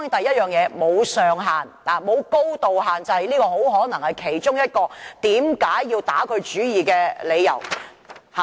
當然，首先，它沒有高度限制，這很可能是其中一個被打主意的理由。